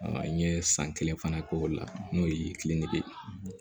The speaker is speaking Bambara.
N ye san kelen fana k'o la n'o ye kiliniki ye